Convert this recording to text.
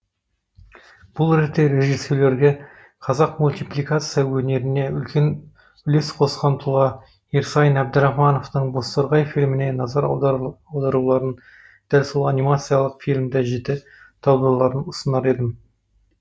бұл ретте режиссерлерге қазақ мультипликация өнеріне үлкен үлес қосқан тұлға ерсайын әбдірахмановтың бозторғай фильміне назар аударуларын дәл сол анимациялық фильмді жіті талдауларын ұсынар едім